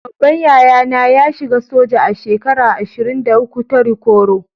Babban yaya na ya shiga soja a shekara ashirin-da- uku ta rikuru.